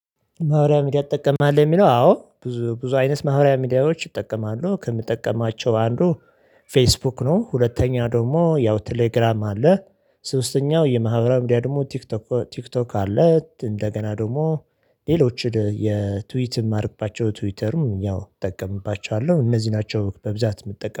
ማህበራዊ ሚዲያ ትጠቀማለህ የሚለው አዎ ብዙ ብዙ አይነት ማህበራዊ ሚዲያዎች እጠቀማሉ ከምጠቀማቸው አንዱ ፌስቡክ ነው። ሁለተኛ ደግሞ ያው ቴሌግራም አለ። ሶስተኛው የማህበራዊ ደግሞ ቲክቶክ አለ። እንደገና ደግሞ ሌሎችን የትዊት የማድርግባቸው ትዊተርም ያው እጠቀምባቸዋለሁ እነዚህ ናቸው በብዛት የምጠቀመው